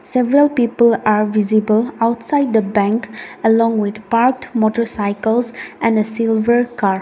several people are visible outside the bank along with a park motorcycles and a silver car.